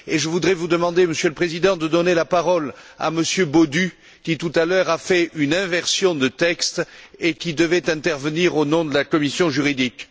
Et je voudrais vous demander, Monsieur le Président, de donner la parole à M. Bodu qui, tout à l'heure, a fait une inversion de texte et qui devait intervenir au nom de la commission juridique.